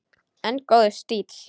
En góður stíll!